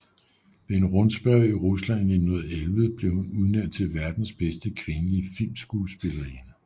Ved en rundspørge i Rusland i 1911 blev hun udnævnt til verdens bedste kvindelige filmskuespillerinde